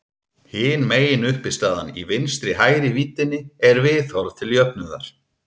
Hin meginuppistaðan í vinstri-hægri víddinni er viðhorf til jöfnuðar.